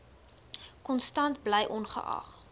konstant bly ongeag